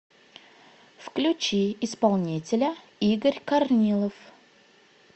включи исполнителя игорь корнилов